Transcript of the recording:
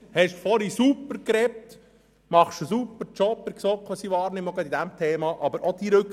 Sie haben vorhin super gesprochen und Sie machen, wie ich es wahrnehme, einen super Job in der GSoK, auch bei diesem Thema.